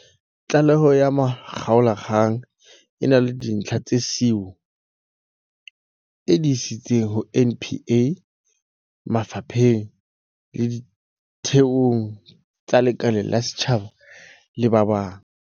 Tlaleho ya makgaolakgang e na le dintlha tseo SIU e di isitseng ho NPA, mafa pheng le ditheong tse lekaleng la setjhaba le ba bang.